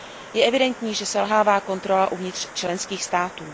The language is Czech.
Je evidentní, že selhává kontrola uvnitř členských států.